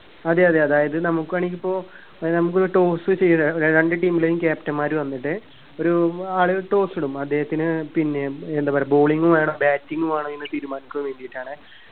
അതെ അതെ അതായത് നമുക്ക് വേണെങ്കി ഇപ്പൊ ഏർ നമിപ്പോ ഒരു toss ചെയ്ത രണ്ടു team ലെയും captain മാര് വന്നിട്ട് ഒരൂ ഉം ആൾ toss ഇടും അദ്ദേഹത്തിന് പിന്നെ ഏർ എന്താ പറയാ bowling വേണം batting വേണോ എന്ന് തീരുമാനിക്കാൻ വേണ്ടിയിട്ടാണ്